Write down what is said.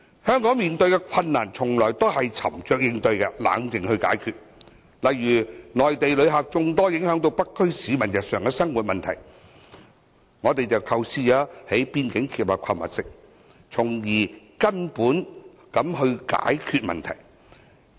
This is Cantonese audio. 香港在面對困難的時候一直沉着應對，冷靜地解決，例如，內地旅客眾多影響到北區市民日常生活，我們便構思在邊境興建購物城，從根本解決問題。